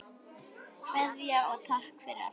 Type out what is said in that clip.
Kveðja og takk fyrir allt.